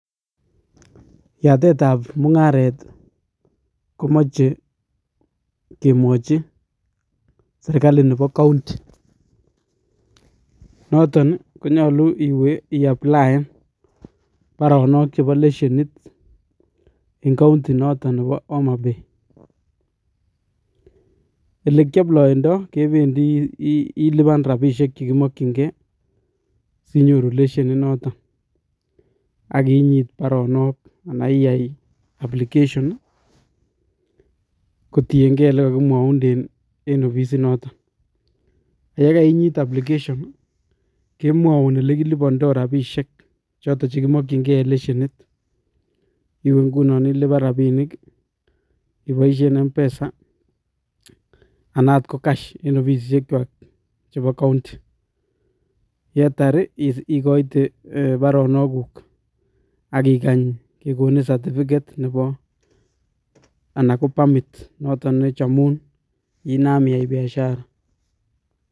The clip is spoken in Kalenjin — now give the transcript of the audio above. Yatet ap mungaret komachei kemwachin serkali nepo county noton ko nyolu iwe iaplayan paronok chepo lesienit en county noton nepo homabay. Olekiaployondoi kependi ilipan ropinik sinyoru lesienit noton akinyit paronok ana iyay application kotienkei yekakimwaunden en ofisit noton yekeinyit application kemwoun elekilipondoi ropisiek choton chepkimokchinkei lesienit iwe nguno ilipan ropinik ipoisien mpesa anan akot ko cash en ofisisiek kwak chebo county yetar ikoiten paronok kuk akikany kekonin certificate ana ko permit nechomun inam iyai biasiara